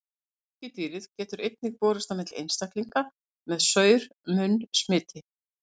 Sníkjudýrið getur einnig borist á milli einstaklinga með saur-munn smiti.